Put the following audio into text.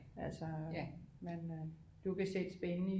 Altså men øh